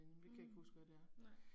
Mh, nej